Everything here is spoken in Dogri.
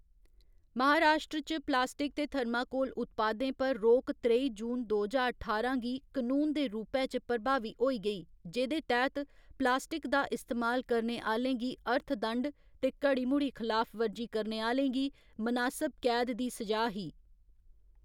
महाराश्ट्र च प्लास्टिक ते थर्माकोल उत्पादें पर रोक त्रई जून दो ज्हार ठारां गी कनून दे रूपै च प्रभावी होई गेई, जेह्‌दे तैह्‌‌‌त प्लास्टिक दा इस्तेमाल करने आह्‌लें गी अर्थदंड ते घड़ी मुड़ी खलाफवर्जी करने आह्‌‌‌लें गी मनासब कैद दी स'जा ही।